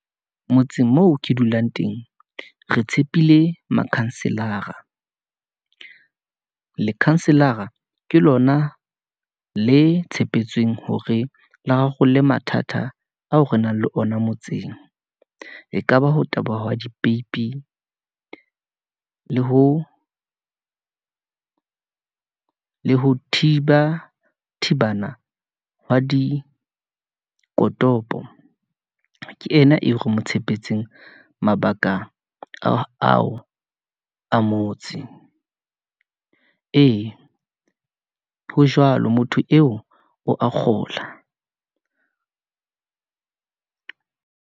Motseng moo ke dulang teng, re tshepile makhanselara , lekhanselara ke lona le tshepetseng hore le rarolle mathata ao re nang le ona motseng. Ekaba ho taboha wa dipeipi , le ho thiba thebana hwa dikotopong. Ke ena eo re mo tshepetseng mabaka ao a motse , ee, ho jwalo, motho eo a kgola.